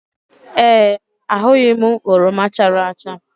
Ee, ahụghị m oroma chara acha